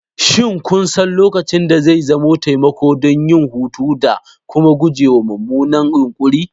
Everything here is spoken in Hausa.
Shin kun san lokacin da zai zama taimako don yin hutu da kuma gujewa mummunan yunkuri?